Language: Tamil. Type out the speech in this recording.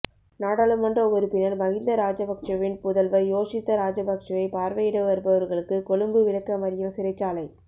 நாடாளுமன்ற உறுப்பினர் மகிந்த ராஜபக்சவின் புதல்வர் யோஷித்த ராஜபக்சவை பார்வையிட வருபவர்களுக்கு கொழும்பு விளக்கமறியல் சிறைச்சாலை